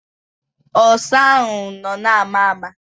Ọsa ahụ nọ na-ama ama.